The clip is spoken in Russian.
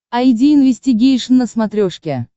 айди инвестигейшн на смотрешке